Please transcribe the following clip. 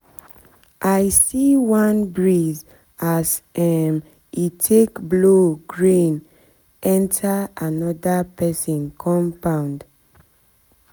i see one breeze as um e take blow grain enter another person compound person compound